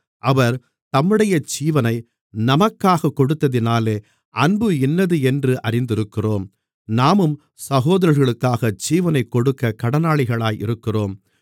அவர் தம்முடைய ஜீவனை நமக்காகக் கொடுத்ததினாலே அன்பு இன்னதென்று அறிந்திருக்கிறோம் நாமும் சகோதரர்களுக்காக ஜீவனைக் கொடுக்கக் கடனாளிகளாக இருக்கிறோம்